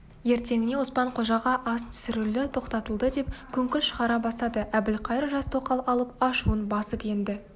ертеңіне оспан-қожаға ас түсірілу тоқтатылды деп күңкіл шығара бастады әбілқайыр жас тоқал алып ашуын басып енді